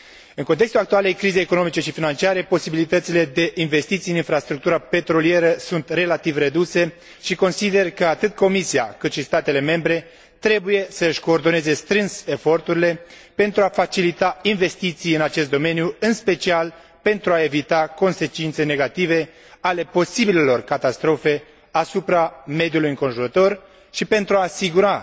În contextul actualei crize economice și financiare, posibilitățile de investiții în infrastructura petrolieră sunt relativ reduse și consider că, atât Comisia, cât și statele membre, trebuie să își coordoneze strâns eforturile pentru a facilita investiții în acest domeniu, în special pentru a evita consecințe negative ale posibilelor catastrofe asupra mediului înconjurător și pentru a asigura